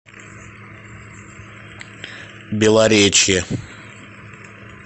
белоречье